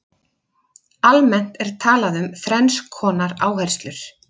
almennt er talað um þrenns konar áherslur